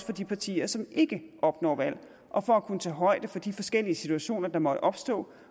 for de partier som ikke opnår valg og for at kunne tage højde for de forskellige situationer der måtte opstå